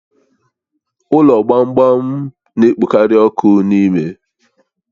Ụlọ gbamgbam gba na-ekpokarị ọkụ n'ime